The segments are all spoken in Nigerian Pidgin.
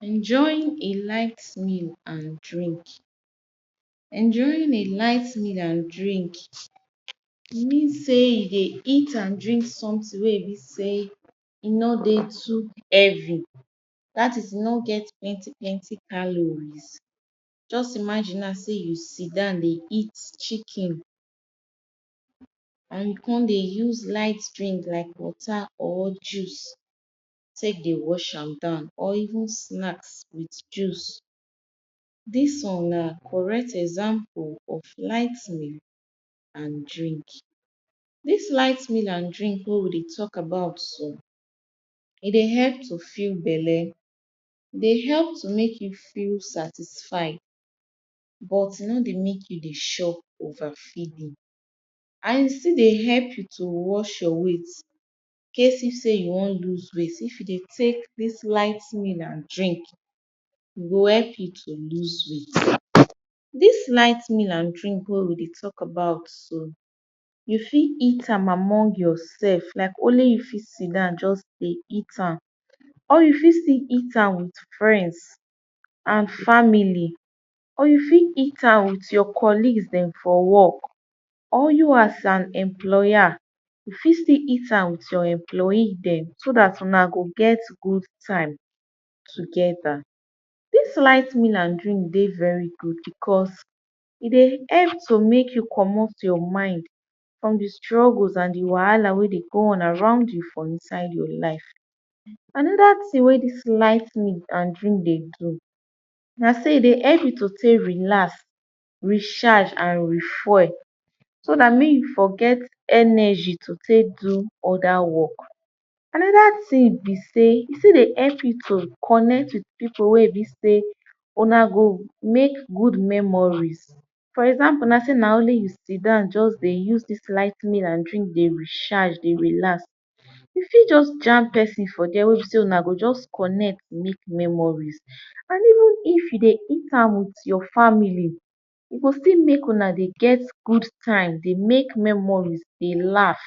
enjoying a light meal and drink enjoying a light meal and drink mean sey you dey eat and drink sometin wey be sey e no dey too heavy that is e no get plenty plenty calory just imagine now sey you sidown dey eat chicken and you come dey use light drink like water or juice take dey wash am down or even snacks with juice this one na correct example of light food and drink this light meal and drink wey we dey talk about so e dey help to fill belle dey help make you feel satisfied but e no dey make you dey chop overfeed and e still dey help you to watch your weight incase if sey you wan loose weight if you dey take this light meal and drink e go help you to loose weight this light meal and drink wey we dey talk about so you fit eat am among yoursef like only you fit sidown just dey eat am or you fit eat am with friends and family or you fit am with your collegues dem for work or you as an employer you fit still eat am with your employees dem so that una go get good time together this light meal and drink dey very good because e dey help to make you comot your mind from the struggles and the wahala wey dey go on around you another ting wey dis light meal and drink dey do na sey e dey help you to take relax recharge and refuel so that make you for get energy to take do other work another ting be sey e still dey help people connect with people wey be sey una go make good memories for example sey na only you sidown just dey use this light meal and drink dey recharge dey relax you fit just jam pesin for there wey be sey una go just connect dey make memories and if you dey eat am with your family go fit make una dey get good time dey make memories dey laugh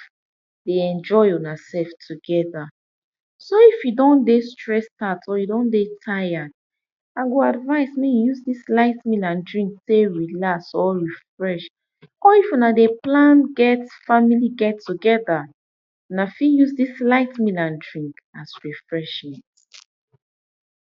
dey enjoy yoursef together so if you don dey stress out or you dey tired i go advise make you use this light meal and drink take relax or refresh or if una dey plan family get together una fit use this light meal and drink as refreshments.